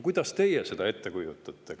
Kuidas teie seda ette kujutate?